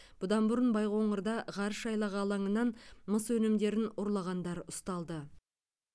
бұдан бұрын байқоңырда ғарыш айлағы алаңынан мыс өнімдерін ұрлағандар ұсталды